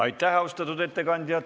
Aitäh, austatud ettekandja!